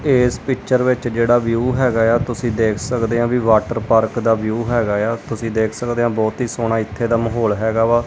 ਇਸ ਪਿੱਚਰ ਵਿੱਚ ਜਿਹੜਾ ਵਿਊ ਹੈ ਤੁਸੀਂ ਦੇਖ ਸਕਦੇ ਹੋ ਵਾਟਰ ਪਾਰਕ ਦਾ ਵਿਊ ਹੈਗਾ ਹੈ ਤੁਸੀਂ ਦੇਖ ਸਕਦੇ ਹੋ ਬਹੁਤ ਹੀ ਸੋਹਣਾ ਇੱਥੇ ਦਾ ਮਾਹੌਲ ਹੈਗਾ ਵਾ।